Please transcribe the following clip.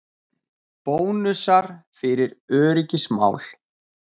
Bónusar fyrir öryggismál